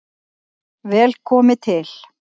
Vel komi til